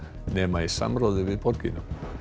nema í samráði við borgina